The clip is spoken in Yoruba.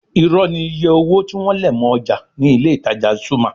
Irọ́ ni iye owó tí wọ́n lẹ̀ mọ́ ọjà ní ilé-ìtajà Zuma